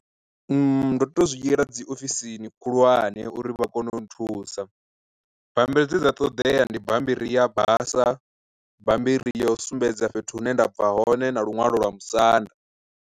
Ndo to zwi yela dzi ofisini khulwane uri vha kone u nthusa, bammbiri dze dza ṱoḓea ndi bammbiri ya basa, bammbiri ya u sumbedza fhethu hune nda bva hone na luṅwalo lwa musanda.